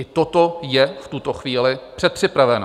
I toto je v tuto chvíli předpřipraveno.